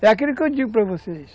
É aquilo que eu digo para vocês.